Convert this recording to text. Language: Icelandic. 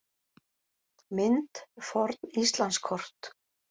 Mynd: Forn Íslandskort.